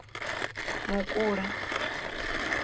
mukula